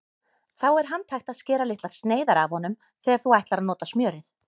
Þá er handhægt að skera litlar sneiðar af honum þegar þú ætlar að nota smjörið.